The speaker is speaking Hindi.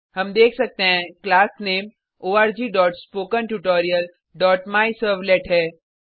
हम देख सकते हैं क्लास नामे orgspokentutorialमायसर्वलेट है